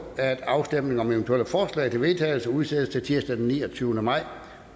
at afstemning om eventuelle forslag til vedtagelse udsættes til tirsdag den niogtyvende maj to